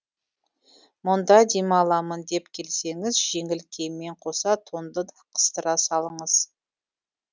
мұнда демаламын деп келсеңіз жеңіл киіммен қоса тонды да қыстыра салыңыз